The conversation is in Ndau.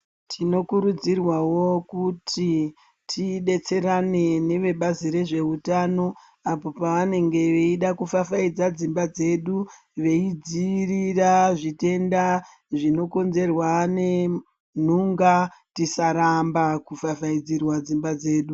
Tinokurudzirwawo kuti tidetserane nevebazi rezveutano apo pavanenge veida kufafaidza dzimba dzedu veidziirira zvitenda zvinokonzerwa ngenhunga, tisaramba kufafaidzirwa dzimba dzedu.